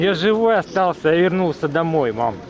Mən sağ qaldım, evə qayıtdım, ana.